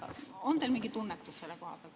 On teil mingi tunnetus selle kohta?